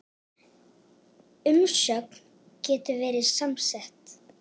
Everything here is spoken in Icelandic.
Umsögn getur verið samsett